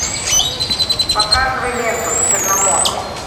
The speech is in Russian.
показывай ленту черномор